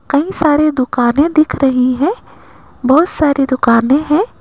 कई सारी दुकाने दिख रही है बहुत सारी दुकाने हैं।